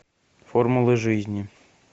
формулы жизни